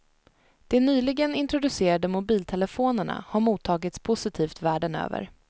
De nyligen introducerade mobiltelefonerna har mottagits positivt världen över.